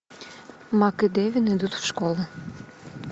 мак и девин идут в школу